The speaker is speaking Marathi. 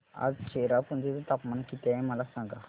आज चेरापुंजी चे तापमान किती आहे मला सांगा